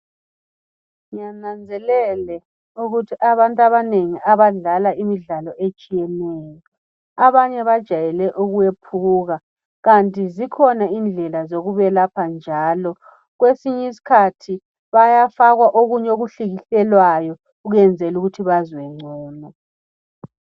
Ngiyananzelela ukuthi abantu abanengi abadlala imidlalo etshiyeneyo bajwayele ukwephuka Kanti zikhona izindlela zokubelapha njalo. Kwesinye isikhathi bayafakwa okunye okuhlikihlelwayo kwenzela ukuthi bazwe ngcono.